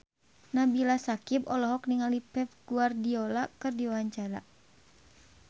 Nabila Syakieb olohok ningali Pep Guardiola keur diwawancara